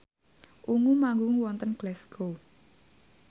Ungu manggung wonten Glasgow